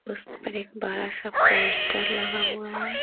उस पर एक बड़ा सा पोस्टर लगा हुआ है।